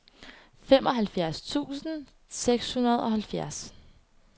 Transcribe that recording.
femoghalvfjerds tusind og seksoghalvfjerds